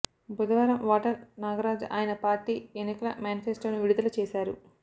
బుధవారం వాటల్ నాగరాజ్ ఆయన పార్టీ ఎన్నికల మేనిఫెస్టోను విడుదల చేశారు